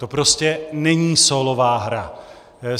To prostě není sólová hra.